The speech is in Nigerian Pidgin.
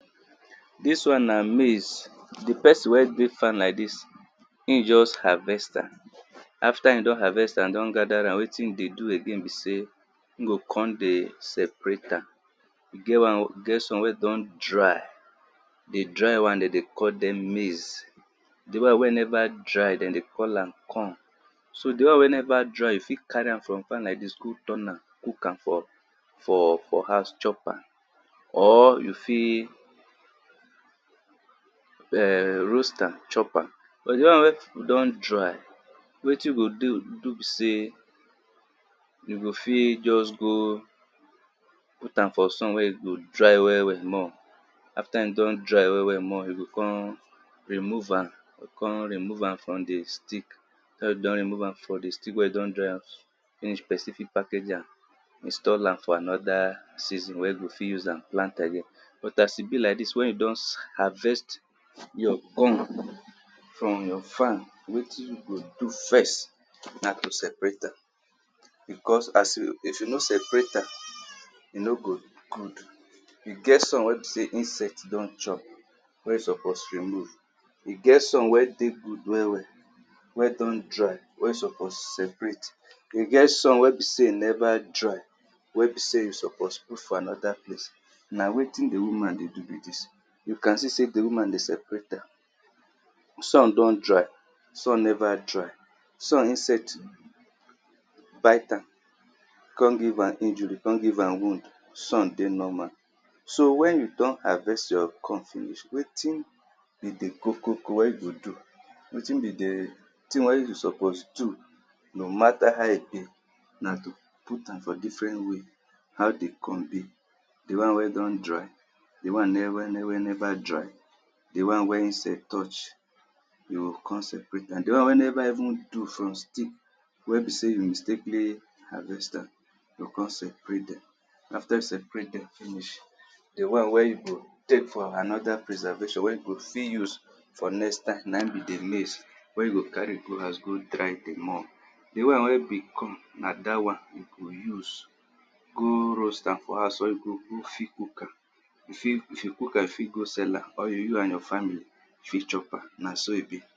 Di wan na maize, di pesin wn get farm like dis, e just harvest am after e don harvest am, don gather ram wetin e go do again be sey e g kon go separate am, e get some ey don dry di dry wan de dey call am maize, di won wey never dry de dey call am corn. So di won wey neva dery you fit carry am for farm fit turn am, cook am chop am, or you fit roast am chop am. But di other won wey don dry, wetin you go do be sey, you go fit just go put am for sun wen e go dry well well after e don dry well well, you go kon remove am for di stick afta you don remove am from di stick, wen ypu don dry am finish, pesin fit package am, install am for anoda season. But as be like dis wen you don harvest from you farm wetin you go do first na to separate am, because if you no separate am, eno go good. E get som wey be sey insect don chop wen e suppose remove, get some wen dey good well well wey don dry wey suppose separate. E get some wen be sey e neva dry wen be sey e suppose put for anoda plalce na wetin di woman dey do be dis. U see sey di woman dey sepereat dem, some don dry, some neva dry some insect bite am kon give am injury, kon give am wound, some dey normal. So wen you don harvest your corn finish, wetin be di kokokowen you suppose do no mata how e be na to put am for different way, how di corn be, di wan wey don dry, di wan neva neva dry, di wan wey e sell, you kon sell. Di wanwey neva even do for stick wen be sey you mistakenly harvest am, you o kon separate dem, aftr you separate dem finish, di wn wey e go put for noda prswrvaton wen you go fit use for next time na in be di maize wen you go carry go house go dry dem more, di won wey be na dat won e go use go roast am for house o you go you fit cook am you fit go sell am or you and your family fit chop am, na so e be.